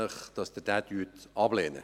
Ich bitte Sie, diesen abzulehnen.